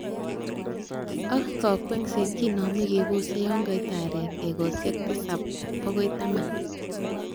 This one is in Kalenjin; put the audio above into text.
Ak kakwesiet kinome kebose yon kait aarek ekosiek tisap bokoi taman.